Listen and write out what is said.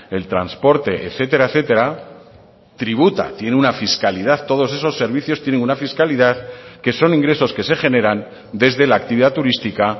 el transporte etcétera etcétera tributa tiene una fiscalidad todos esos servicios tienen una fiscalidad que son ingresos que se generan desde la actividad turística